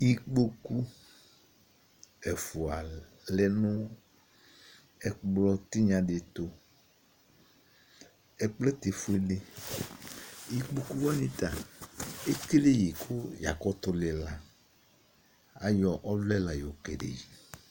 Ikpoku ɛfʋa alɛ nʋ ɛkplɔtinya di ɛtʋ Ɛkplɔ yɛ ta efuele Ikpoku wani ta ekele yɩ kʋ yakutu lila Ayɔ ɔvlɛ la yokele yɩ